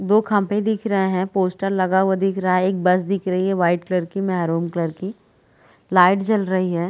दो खम्भे दिख रहे है पोस्टर लगा हुआ दिख रहा है एक बस दिख रही है वाइट कलर की महरूम कलर की लाइट जल रही हैं --